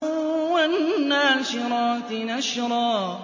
وَالنَّاشِرَاتِ نَشْرًا